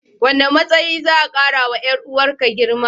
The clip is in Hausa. Wane matsayi za'a karawa 'yar uwarka girma?